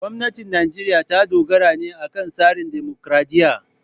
Gwamnatin Najeriya ta dogara ne akan tsarin dimokuradiyya.